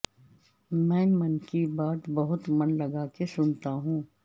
میں من کی بات بہت من لگا کے سنتا ہوں